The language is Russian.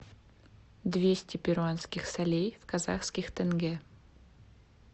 двести перуанских солей в казахских тенге